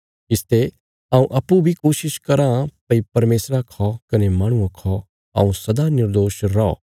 इसते हऊँ अप्पूँ बी कोशिश कराँ भई परमेशरा खौ कने माहणुआं खौ हऊँ सदा निर्दोष रौ